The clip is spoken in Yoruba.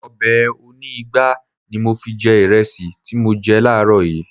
Ọbẹ̀ oní ìgbá ni mo fi jẹ ìrẹsì tí mo jẹ láàrọ̀ yìí